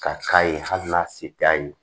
Ka k'a ye hali n'a se t'a ye